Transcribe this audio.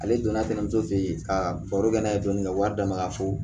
Ale donna kɛnɛmuso fɛ yen ka baro kɛ n'a ye dɔɔnin dɔɔnin ka wari d'a ma ka fo